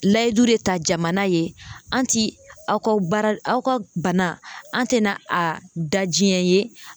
Layidu de ta jamana ye an ti, aw ka baara aw ka bana an tɛna a da jiɲɛ ye.